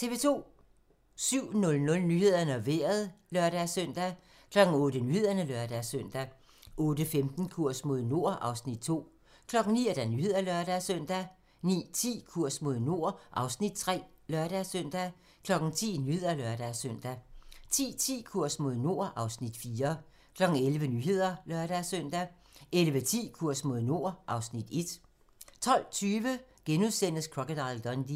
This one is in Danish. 07:00: Nyhederne og Vejret (lør-søn) 08:00: Nyhederne (lør-søn) 08:15: Kurs mod nord (Afs. 2) 09:00: Nyhederne (lør-søn) 09:10: Kurs mod nord (Afs. 3)(lør-søn) 10:00: Nyhederne (lør-søn) 10:10: Kurs mod nord (Afs. 4) 11:00: Nyhederne (lør-søn) 11:10: Kurs mod nord (Afs. 1) 12:20: Crocodile Dundee *